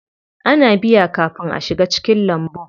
Ana biya kafin a shiga cikin lambun.